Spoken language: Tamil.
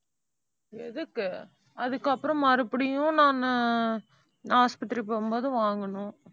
எதுக்கு? அதுக்கப்புறம் மறுபடியும் நானு நான் ஆஸ்பத்திரி போகும்போது வாங்கணும்